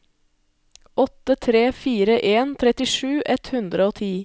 åtte tre fire en trettisju ett hundre og ti